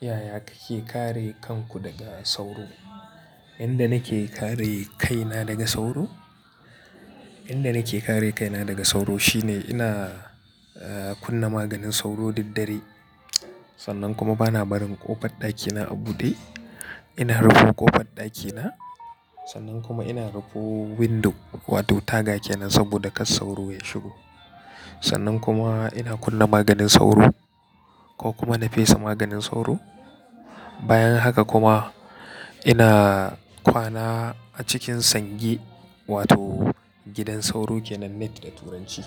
Yaya kake kare kanku daga sauro? Yanda nake kare kaina daga sauro, yanda nake kare kaina daga sauro shine ina, eh, kunna maganin sauro daddare. Sannan kuma bana barin ƙofar ɗakina a buɗe. Ina rufe ƙofar ɗakina. Sannan kuma ina rufe window wato taga kenan saboda kar sauro ya shigo. Sannan kuma ina kunna maganin sauro ko kuma na fesa maganin sauro. Bayan haka kuma ina kwana a cikin sange wato gidan sauro ke nan net da turanci.